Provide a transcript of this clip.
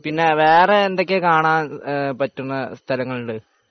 പിന്നെ വേറെ എന്തൊക്കെ കാണാൻ പറ്റുന്ന സ്ഥലങ്ങളുണ്ട്